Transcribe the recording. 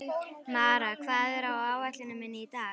Mara, hvað er á áætluninni minni í dag?